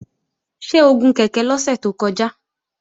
Ṣé o gun kèké lọ́sẹ̀ tó kọjá?